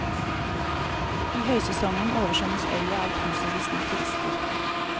I høysesongen oversvømmes øya av tusenvis med turister.